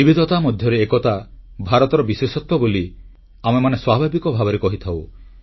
ବିବିଧତା ମଧ୍ୟରେ ଏକତା ଭାରତର ବିଶେଷତ୍ୱ ବୋଲି ଆମେମାନେ ସ୍ୱାଭାବିକ ଭାବେ କହିଥାଉ